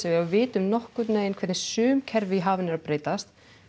við vitum nokkurn veginn hvernig sum kerfi hafa verið að breytast